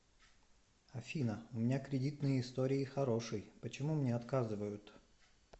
афина у меня кредитные истории хороший почему мне отказывают